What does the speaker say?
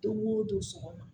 Don o don sɔgɔma